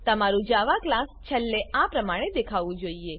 તમારું Java class છેલ્લે આ પ્રમાણે દેખાવું જોઈએ